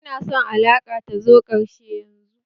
Ina son alaka ta zo ƙarshe yanzu!